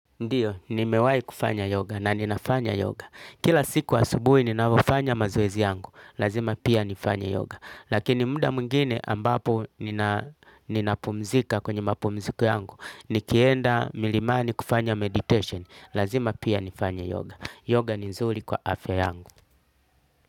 Ndiyo, nimewahi kufanya yoga na ninafanya yoga. Kila siku asubuhi ninavyofanya mazoezi yangu. Lazima pia nifanye yoga. Lakini muda mwingine ambapo ninapumzika kwenye mapumziko yangu nikienda milimani kufanya meditation. Lazima pia nifanya yoga. Yoga ni nzurikwa afya yangu.